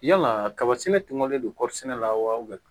Yala kaba sɛnɛ tungalen don kɔɔri sɛnɛ la wa